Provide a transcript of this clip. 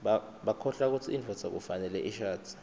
bakholwa kutsi indvodza kufanele ishadze